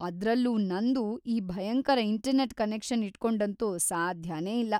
ಅದ್ರಲ್ಲೂ ನಂದು ಈ ಭಯಂಕರ ಇಂಟರ್ನೆಟ್‌ ಕನೆಕ್ಷನ್ ಇಟ್ಕೊಂಡಂತೂ ಸಾಧ್ಯನೇ ಇಲ್ಲ.